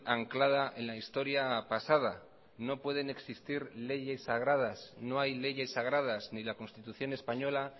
anclada en la historia pasada no pueden existir leyes sagradas no hay leyes sagradas ni la constitución española